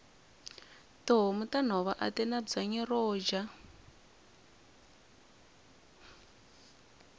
tihhomu tanhova atina bwanyi roja